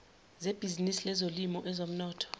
sebhizinisi lezolimo ezomnotho